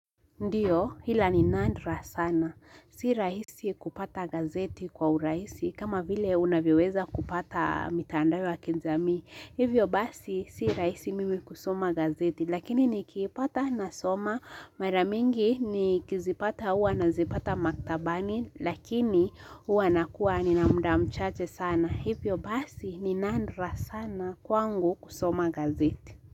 Ndio hila ni nandra sana. Si rahisi kupata gazeti kwa urahisi kama vile unavyoweza kupata mitandao ya kijamii. Hivyo basi si rahisi mimi kusoma gazeti lakini nikiipata nasoma. Maramingi ni kizipata hua nazipata maktabani lakini hua nakua ni namda mchache sana. Hivyo basi ni nandra sana kwangu kusoma gazeti.